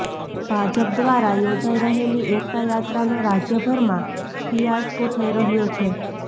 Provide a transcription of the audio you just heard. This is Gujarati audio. ભાજપ દ્વારા યોજાઇ રહેલી એકતા યાત્રાનો રાજ્યભરમાં ફિયાસ્કો થઇ રહ્યો છે